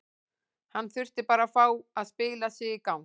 Hann þurfti bara að fá að spila sig í gang.